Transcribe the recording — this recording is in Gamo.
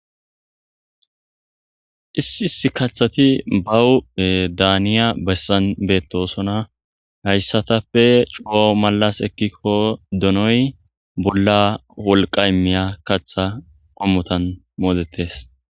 Issi issi kathati bawu daaniya bessan beettosona hayssatappe cuwo malas ekkikko donoy bolla wolqa immiya katha qommotan moodetes.